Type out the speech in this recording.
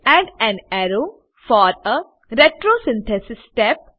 add an arrow for a retrosynthesis step